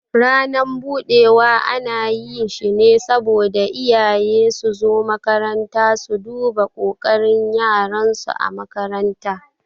Ranan budewa ana yi shi ne saboda iyaye suzo makaranta su duba kokarin yaran su ã makaranta.